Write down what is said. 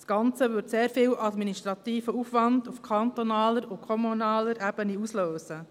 Das Ganze würde sehr viel administrativen Aufwand auf kantonaler und kommunaler Ebene auslösen.